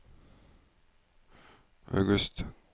august